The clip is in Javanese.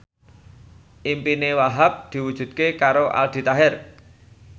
impine Wahhab diwujudke karo Aldi Taher